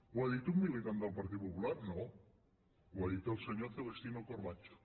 ho ha dit un militant del partit popular no ho ha dit el senyor celestino corbacho